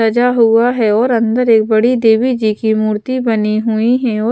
सजा हुआ है और अंदर एक बड़ी देवी जी की मूर्ति बनी हुई है और --